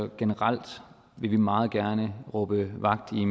generelt meget gerne råbe mere vagt i